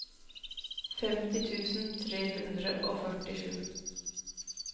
femti tusen tre hundre og førtisju